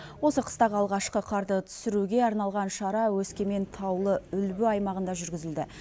осы қыстағы алғашқы қарды түсіруге арналған шара өскемен таулы үлбі аймағында жүргізілді